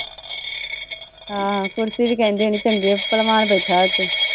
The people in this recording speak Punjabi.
ਹਾਂ ਆ ਕੁਰਸੀ ਵੀ ਕਹਿੰਦੀ ਹੋਣੀ ਚੰਗੇ ਭਲਵਾਨ ਬੈਠਾ ਉੱਤੇ।